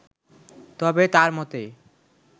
তবে তার মতে